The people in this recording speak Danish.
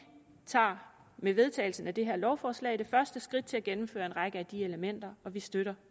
tager med vedtagelsen af det her lovforslag det første skridt til at gennemføre en række af de elementer og vi støtter